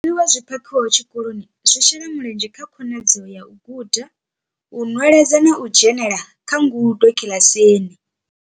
Zwiḽiwa zwi phakhiwaho tshikoloni zwi shela mulenzhe kha khonadzeo ya u guda, u nweledza na u dzhenela kha ngudo kiḽasini.